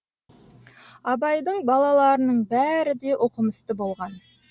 абайдың балаларының бәрі де оқымысты болған